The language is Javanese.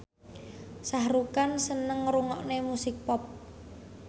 Shah Rukh Khan seneng ngrungokne musik pop